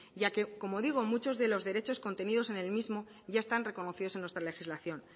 ya que como digo muchos de los derechos contenidos en el mismo ya están reconocidos en nuestra legislación